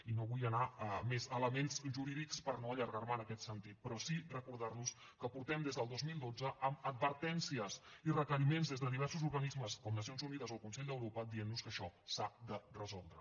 i no vull anar a més elements jurídics per no allargar me en aquest sentit però sí recordar los que portem des del dos mil dotze amb advertències i requeriments des de diversos organismes com nacions unides o el consell d’europa dient nos que això s’ha de resoldre